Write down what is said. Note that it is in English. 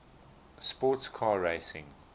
sports car racing